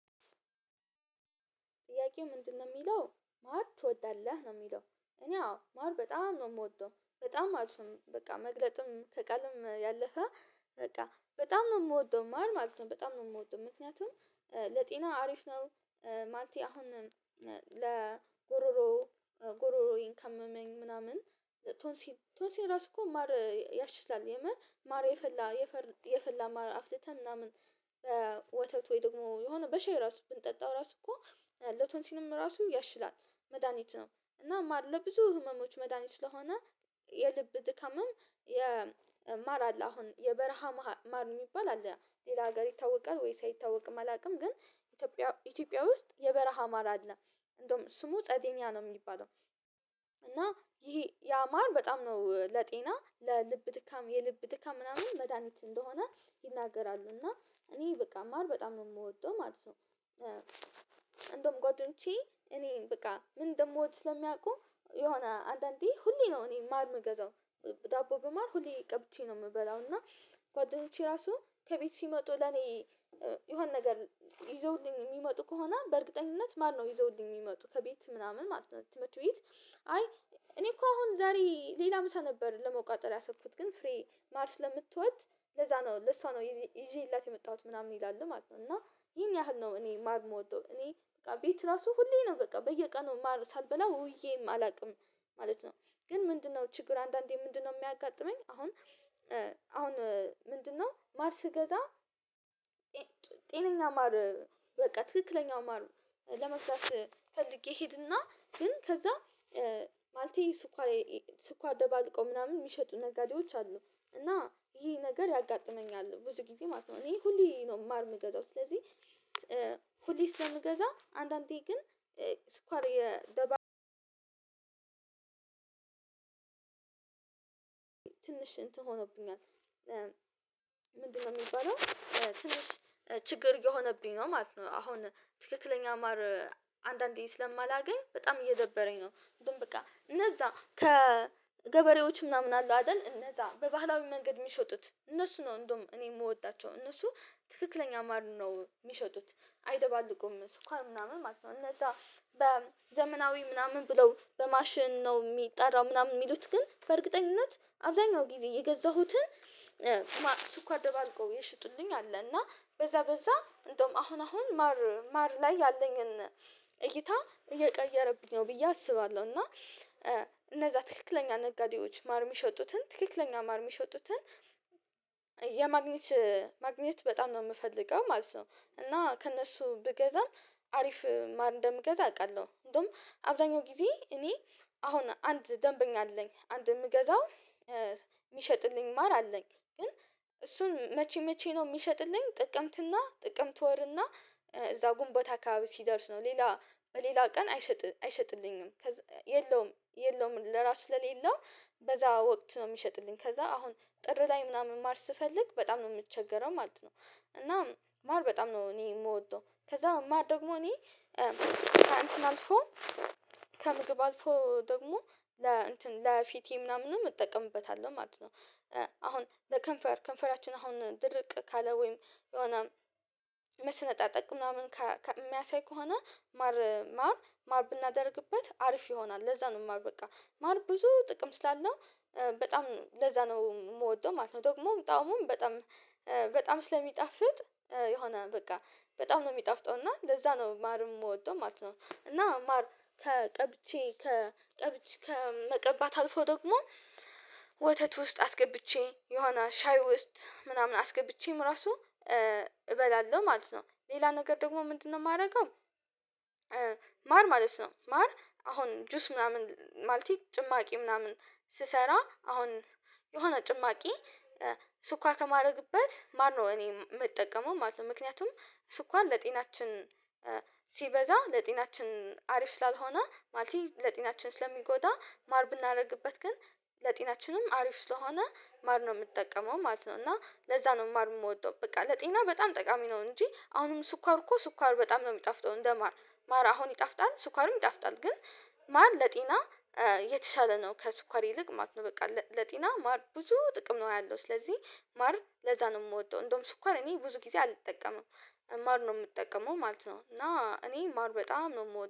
ጥያቄው ምንድነው የሚለው ማር ትወዳለህ ነው የሚለው? እኔ አዎ ማር በጣም ነው የምወደው በጣም ማለት ነው። በቃ መግለጥም ከቃልም ያለፈ። በቃ በጣም ነው የምወደው ማር ማለት ነው። በጣም ነው የምወደው ምክንያቱም ለጤናው አሪፍ ነው። ማለቴ አሁን ለጉሮሮው ጉሮሮየ ካመኝ ምናምን ቶንሲ ቶንሲ ራሱ እኮ ማር ያሽላል የመር ማር የፈላ የፈላ ማር አፍልተህ ምናምን ወተት ወይ ደግሞ የሆነ በሼሂ ራሱ ብንጠጣው ራሱ እኮ ለቶንሲንም ራሱ ያሽላል። መድሃኒት ነው። እና ማር ለብዙ ህመሞች መድሃኒት ስለሆነ። የልብ ድከምም የማር አለ አሁን የበረሃ ማር የሚባል አለ ሌላ ሀገር ይታወቃል ወይስ አይታወቅም አላውቅም። ግን ኢትዮጵያ ኢትዮጵያ ውስጥ የበረሃ አማራለህ እንደውም ስሙ ጸደኛ ነው የሚባለው። እና ይሄ ያማር በጣም ነው ለጤና ለልብ ድካም የልብ ድካም ምናምን መድሃኒት እንደሆነ ይናገራሉ። እና እኔ በቃ ማር በጣም ነው የምወደው ማለት ነው። እንደውም ጓደኞቼ እኔ በቃ ምን እንደምወድ ስለሚያውቁ የሆነ አንዳንዴ ሁሌ ነው እኔ ማር ምገዛው። ዳቦ በማር ሁሌ ቀብቼ ነው የምበላው። እና ጓደኞቼ ራሱ ከቤት ሲመጡ ለኔ የሆነ ነገር ይዘውልኝ የሚመጡ ከሆነ በእርግጠኝነት ማር ነው ይዘውልኝ የሚመጡ ከቤት ምናምን ማለት ነው። ትምህርት ቤት አይ እኔ እኮ አሁን ዛሬ ሌላ ምሳ ነበር ለመውቃጠር ያሰብኩት ግን ፍሬ ማር ስለምትወድ ለዛ ነው ለሷ ነው ይዤላት የመጣሁት ምናምን ይላሉ ማለት ነው። እና ይሄን ያህል ነው እኔ ማር የምወደው። እኔ በቃ ቤት ራሱ ሁሌ ነው በቃ በየቀኑ ማር ሳልበላ ውዬ አላውቅም። ማለት ነው ግን ምንድነው ችግር አንዳንዴ ምንድነው የሚያጋጥመኝ? አሁን አሁን ምንድነው ማርስ ስገዛ ጤነኛ ማር በቃ ትክክለኛ ማር ለመግዛት ፈልጌ ሄድና ግን ከዛ ማለቴ ስኳር ስኳር ደባልቆ ምናምን የሚሸጡ ነጋዴዎች አሉ እና ይሄ ነገር ያጋጥመኛል ብዙ ጊዜ ማለት ነው። እኔ ሁሌ ነው ማር የምገዛው ስለዚህ ሁሌ ስለምገዛ አንዳንዴ ግን ስኳር የደባብ ትንሽ እንትን ሆኖብኛል። ምንድነው የሚባለው? ትንሽ ችግር የሆነብኝ ነው ማለት ነው። አሁን ትክክለኛ ማር አንዳንዴ ስለማላገኝ በጣም እየደበረኝ ነው። እንደውም በቃ እነዛ ከገበሬዎች ምናምን አለው አይደል? እነዛ በባህላዊ መንገድ የሚሸጡት እነሱ ነው እንደውም እኔ የምወዳቸው እነሱ ትክክለኛ ማር ነው የሚሸጡት። አይደባልቁም እነሱ ስኳር ምናምን ማለት ነው እነዛ በዘመናዊ ምናምን ብለው በማሽን ነው የሚጠራው ምናምን የሚሉት ግን በእርግጠኝነት አብዛኛው ጊዜ የገዛሁትን ሱኳር ደባልቆ የሸጡልኝ አለ። እና በዛ በዛ እንደውም አሁን አሁን ማር ማር ላይ ያለኝን እይታ እየቀየረብኝ ነው ብዬ አስባለሁ። እና እነዛ ትክክለኛ ነጋዴዎች ማር የሚሸጡትን ትክክለኛ ማር የሚሸጡትን የማግኘት ማግኘት በጣም ነው የምፈልገው ማለት ነው። እና ከእነሱ ብገዛም አሪፍ ማር እንደምገዛ አውቃለሁ። እንደውም አብዛኛው ጊዜ እኔ አሁን አንድ ደንበኛ አለኝ አንድ የምገዛው የሚሸጥልኝ ማር አለኝ። ግን እሱን መቼ መቼ ነው የሚሸጥልኝ? ጥቅምትና ጥቅምት ወርና እዛ ጉንባታ አከበባቢ ሲደርስ ነው ሌላ በሌላ ቀን አይሸጥ አይሸጥልኝም። የለውም የለውም ለራሱ ስለሌለው በዛ ወቅት ነው የሚሸጥልኝ። ከዛ አሁን ጥር ላይ ምናምን ማር ስፈልግ በጣም ነው የምትቸገረው ማለት ነው። እና ማር በጣም ነው እኔ የምወደው። ከዛ ማር ደግሞ እኔ ከእንትን አልፎ ከምግብ አልፎ ደግሞ ለፊቴ ምናምን እጠቀምበታለሁ ማለት ነው። አሁን ለከንፈር ከንፈራችን አሁን ድርቅ ካለ ወይም የሆነ መሰነጣጠቅ ምናምን ከሚያሳይ ከሆነ ማር ማር ማር ብናደርግበት አሪፍ ይሆናል። ለዛ ነው ማር በቃ ማር ብዙ ጥቅም ስላለው በጣም ለዛ ነው የምወደው ማለት ነው። ደግሞም ጣውሙም በጣም በጣም ስለሚጣፍጥ የሆነ በቃ በጣም ነው የሚጣፍጠው እና ለዛ ነው ማርም የምወደው ማለት ነው። እና ማር ከቀብቼ ከቀብች ከመቀባት አልፎ ደግሞ ወተት ውስጥ አስገብቼ የሆነ ሻይ ውስጥ ምናምን አስገብቼም ራሱ እበላለሁ ማለት ነው። ሌላ ነገር ደግሞ ምንድነው የማደርገው? ማር ማለት ነው ማር አሁን ጁስ ምናምን ማለቴ ጭማቂ ምናምን ስሰራ አሁን የሆነ ጭማቂ ስኳር ከማድረግበት ማርነው እኔ የምጠቀመው ማለት ነው። ምክንያቱም ስኳን ለጤናችን ሲበዛ ለጤናችን አሪፍ ስላልሆነ ማለት ለጤናችን ስለሚጎዳ ማር ብናደርግበት ግን ለጤናችንም አሪፍ ስለሆነ ማር ነው የምትጠቀመው ማለት ነው። እና ለዛ ነው ማር የምወደው በቃ ለጤና በጣም ጠቃሚ ነው። እንጂ አሁንም ስኳር እኮ ስኳር በጣም ነው የሚጣፍጠው እንደማር ማር አሁን ይጣፍጣል ስኳርም ይጣፍጣል ግን ማር ለጤና የተሻለ ነው። ከስኳር ይልቅ ማለት ነው። በቃ ለጤና ማር ብዙ ጥቅም ነው ያለው። ስለዚህ ማር ለዛ ነው የምወደው። እንደውም ስኳር እኔ ብዙ ጊዜ አልጠቀመም። ማር ነው የምጠቀመው ማለት ነው። እና እኔ ማር በጣም ነው የምወደው